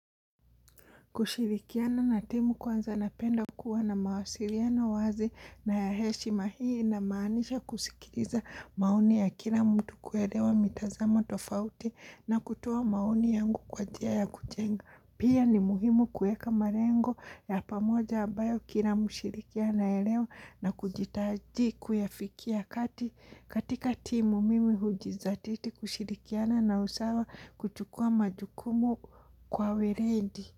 Kushirikiana na timu kwanza napenda kuwa na mawasiliano wazi na ya heshima hii inamaanisha kusikiriza maoni ya kila mtu kuelewa mitazamo tofauti na kutua maoni yangu kwa njia kujenga. Pia ni muhimu kueka marengo ya pamoja abayo kila mshirikiana elewa na kujitaji kuyafikia katika timu mimi hujizatiti kushirikiana na usawa kuchukua majukumu kwa weledi.